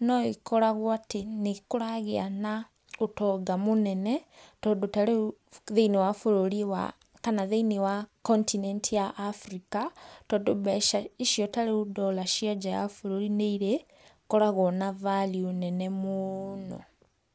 no ikoragwo atĩ nĩkũragĩa na ũtonga mũnene, tondũ tarĩu thĩiniĩ wa bururi wa kana thĩiniĩ wa continent ya Africa, tondũ mbeca icio tarĩu ndora cia nja wa bũrũri nĩirĩkoragwo na value nene mũno.